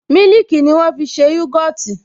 Mílìkì ni wọ́n fi ṣe yogọtì